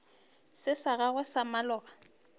se sa gago sa maloba